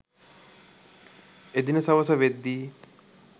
එදින සවස වෙද්දී